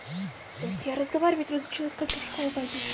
блять разговаривать разучилась как я в школу пойду